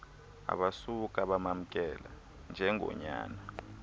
abasuka bamamkela njengonyana